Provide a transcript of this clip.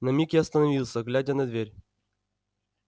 на миг я остановился глядя на дверь